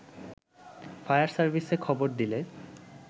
fire সার্ভিসে খবর দিলে